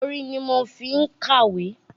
Orin ni mo fí ń kàwé